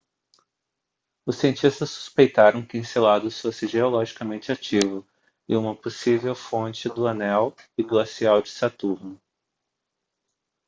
os cientistas suspeitaram que enceladus fosse geologicamente ativo e uma possível fonte do anel e glacial de saturno